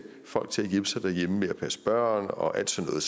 folk til at hjælpe sig derhjemme med at passe børn og alt sådan